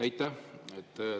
Aitäh!